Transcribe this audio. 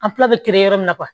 An fila bɛ yɔrɔ min na